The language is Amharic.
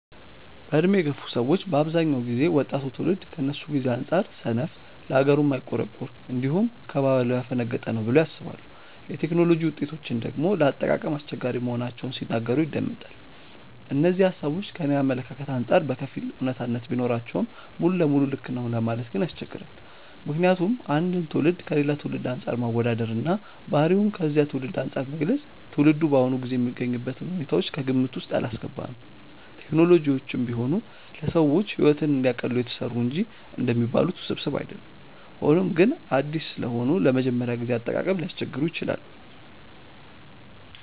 በዕድሜ የገፉ ሰዎች በአብዛኛው ጊዜ ወጣቱ ትውልድ ከነሱ ጊዜ አንጻር ሰነፍ፣ ለሀገሩ የማይቆረቆር፣ እንዲሁም ከባህሉ ያፈነገጠ ነው ብለው ያስባሉ። የቴክኖሎጂ ውጤቶችን ደግሞ ለአጠቃቀም አስቸጋሪ መሆናቸውን ሲናገሩ ይደመጣል። እነዚህ ሃሳቦች ከኔ አመለካከት አንጻር በከፊል አውነታነት ቢኖራቸውም ሙሉ ለሙሉ ልክ ነው ለማለት ግን ያስቸግራል። ምክንያቱም አንድን ትውልድ ከሌላ ትውልድ አንፃር ማወዳደር እና ባህሪውን ከዚያ ትውልድ አንፃር መግለጽ ትውልዱ በአሁኑ ጊዜ የሚገኝበትን ሁኔታዎች ከግምት ውስጥ ያላስገባ ነው። ቴክኖሎጂዎችም ቢሆኑ ለሰዎች ሕይወትን እንዲያቀሉ የተሰሩ እንጂ እንደሚባሉት ውስብስብ አይደሉም። ሆኖም ግን አዲስ ስለሆኑ ለመጀመሪያ ጊዜ አጠቃቀም ሊያስቸግሩ ይችላሉ።